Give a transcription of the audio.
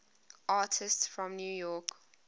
artists from new york